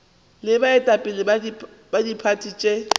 le baetapele ba diphathi tše